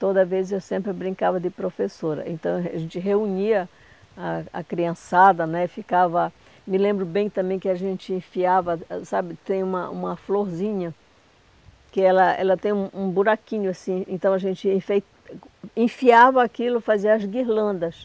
Toda vez eu sempre brincava de professora, então a gente reunia a a criançada né e ficava, me lembro bem também que a gente enfiava, sabe, tem uma uma florzinha que ela ela tem um um buraquinho assim, então a gente enfei enfiava aquilo, fazia as guirlandas.